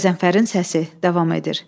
Qəzənfərin səsi davam edir.